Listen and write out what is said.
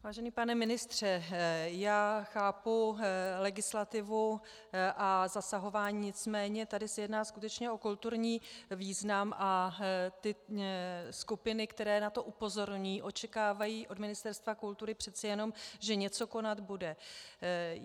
Vážený pane ministře, já chápu legislativu a zasahování, nicméně tady se jedná skutečně o kulturní význam a ty skupiny, které na to upozorňují, očekávají od Ministerstva kultury přece jenom, že něco konat bude.